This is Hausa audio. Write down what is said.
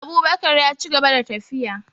Abubakar yaci gaba da tafiya